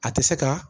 A tɛ se ka